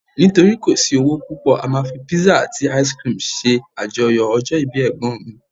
nitori kò sí owó púpò, a ma fi pizza ati ice cream se ajoyọ ọjọ ibi egbon mi